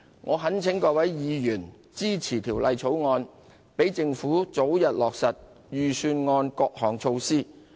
我懇請各位委員支持《條例草案》，讓政府早日落實預算案各項措施。